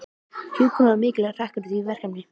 Hjúkrun var mikilvægur hlekkur í því verkefni.